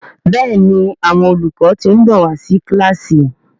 Béèni Àwọn olùkọ tin nbọ wá sí kilasi.